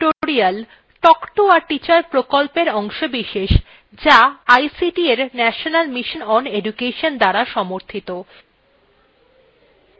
spoken tutorials talk to a teacher প্রকল্পের অংশবিশেষ যা ict এর national mission on education দ্বারা সমর্থিত